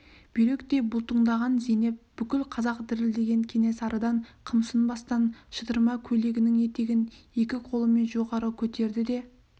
бүйректей бұлтыңдаған зейнеп бүкіл қазақ дірілдеген кенесарыдан қымсынбастан шытырма көйлегінің етегін екі қолымен жоғары көтерді де